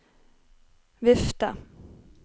vifte